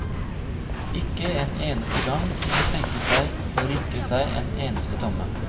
Ikke en eneste gang kunne de tenke seg å rikke seg en eneste tomme.